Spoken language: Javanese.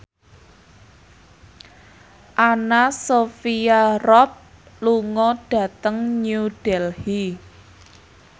Anna Sophia Robb lunga dhateng New Delhi